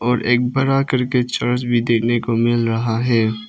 और एक बड़ा चर्च देखने को मिल रहा है।